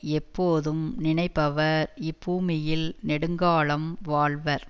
எப்போதும் நினைப்பவர் இப்பூமியில் நெடுங்காலம் வாழ்வர்